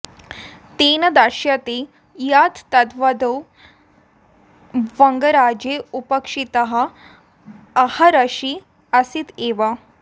तेन दर्श्यते यत् तदवधौ वङ्गराज्ये अपेक्षितः आहारराशिः आसीत् एव